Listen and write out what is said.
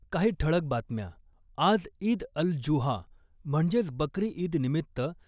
काही ठळक बातम्या आज ईद अल जुहा म्हणजेच बकरी ईद निमित्त